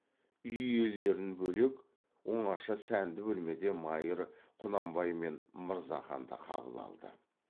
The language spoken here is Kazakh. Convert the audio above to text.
үй иелерін бөлек оңаша сәнді бөлмеде майыр құнанбай мен мырзаханды қабыл алды